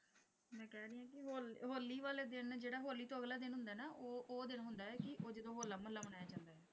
Hole Holi ਵਾਲੇ ਦਿਨ ਜਿਹੜਾ ਹੋਲੀ ਤੋਂ ਅਗਲੇ ਦਿਨ ਹੁੰਦਾ ਹੈ ਨਾ ਉਹ ਉਹ ਦਿਨ ਹੁੰਦਾ ਹੈ ਕਿ ਉਹ ਜਦੋਂ ਹੋਲਾ ਮਹੱਲਾ ਮਨਾਇਆ ਜਾਂਦਾ ਹੈ।